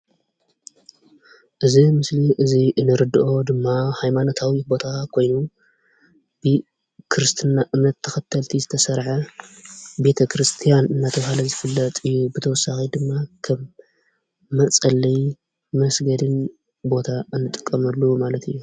እዚ ምስሊ እዚ ንርዶኦ ድማ ሃይማኖታዊ ቦታ ኮይኑ ብክርስትና እምነት ተከተልቲ ዝተሰረሓ ቤተክርስትያን እንዳተባሃለ ዝፍለጥ እዩ። በተወሳኪ ድማ ከም መፀለይ መስገዲን ቦታ እንጥቀመሉ ማለት እዩ።